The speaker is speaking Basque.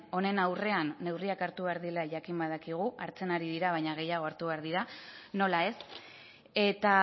honen aurrean neurriak hartu behar direla jakin badakigu hartzen ari dira baina gehiago hartu behar dira nola ez eta